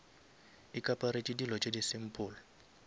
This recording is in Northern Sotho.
ikaparetše dilo tše di simple